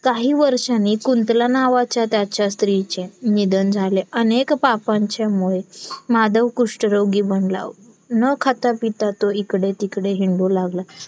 काही वर्षांनी कुंतला नावाच्या त्याच्या स्त्रीचे निधन झाले. अनेक पापांच्यामुळे माधव कुष्ठरोगी बनला न खातापिता तो इकडे तिकडे हिंडू लागला